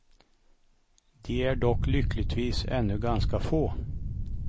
De är dock lyckligtvis ännu ganska få.